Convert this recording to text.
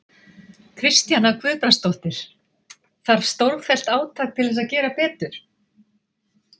Kristjana Guðbrandsdóttir: Þarf stórfellt átak til þess að gera betur?